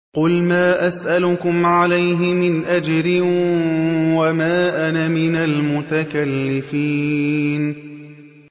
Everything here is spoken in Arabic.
قُلْ مَا أَسْأَلُكُمْ عَلَيْهِ مِنْ أَجْرٍ وَمَا أَنَا مِنَ الْمُتَكَلِّفِينَ